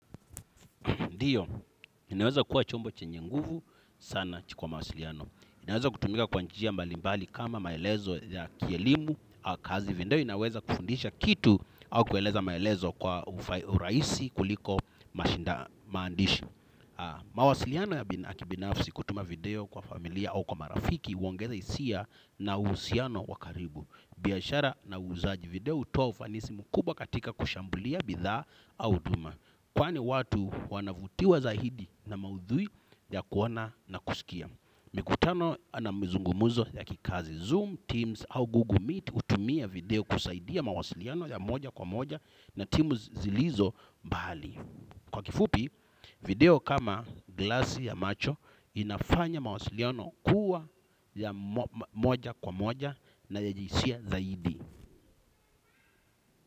Ndiyo, ninaweza kuwa chombo chenye nguvu sana kwa mawasiliano. Inaweza kutumika kwa njia mbali mbali kama maelezo ya kielimu au kazi video. Inaweza kufundisha kitu au kueleza maelezo kwa urahisi kuliko mashinda maandishi. Mawasiliano ya kibinafsi kutuma video kwa familia au kwa marafiki huongeza hisia na uhusiano wa karibu. Biashara na uuzaji video hutoa ufanisi mkubwa katika kushambulia bidhaa au huduma. Kwani watu wanavutiwa zaidi na maudhui ya kuona na kusikia. Mikutano na mzungumzo ya kikazi Zoom, Teams au Google Meet hutumia video kusaidia mawasiliano ya moja kwa moja na timu zilizo mbali. Kwa kifupi, video kama glasi ya macho inafanya mawasiliano kuwa ya moja kwa moja na ya jisia zaidi.